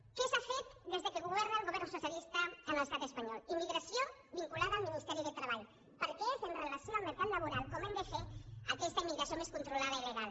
què s’ha fet des que governa el govern socialista en l’estat espanyol immigració vinculada al ministeri de treball perquè és amb relació al mercat laboral com hem de fer aquesta immigració més controlada i legal